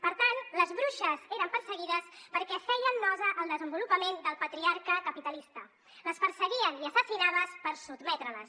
per tant les bruixes eren perseguides perquè feien nosa al desenvolupament del patriarca capitalista les perseguien i assassinaven per sotmetre les